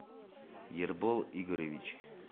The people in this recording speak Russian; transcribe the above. ербол игоревич